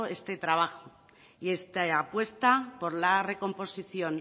este trabajo y esta apuesta por la recomposición